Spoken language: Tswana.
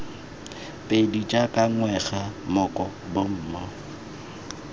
pedi jaaka ngwega moko bomo